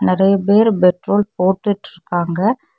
நெறைய பேரு பெட்ரோல் போட்டுட்டு இருக்காங்க.